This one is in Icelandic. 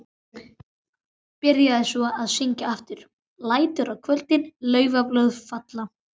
Byrjaði svo að syngja aftur: LÆTUR Á KVÖLDIN LAUFBLÖÐ FALLA.